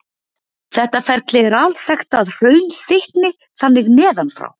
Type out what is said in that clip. Þetta ferli er alþekkt að hraun þykkni þannig neðan frá.